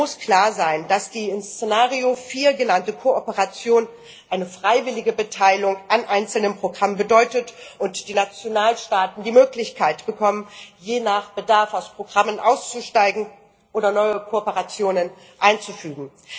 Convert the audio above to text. Es muss klar sein, dass die in Szenario 4 genannte Kooperation eine freiwillige Beteiligung an einzelnen Programmen bedeutet und die Nationalstaaten die Möglichkeit bekommen, je nach Bedarf aus Programmen auszusteigen oder neue Kooperationen einzufügen.